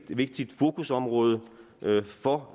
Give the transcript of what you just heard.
vigtigt fokusområde for